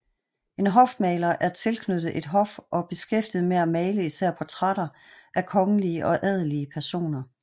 En hofmaler er tilknyttet et hof og beskæftiget med at male især portrætter af kongelige og adelige personer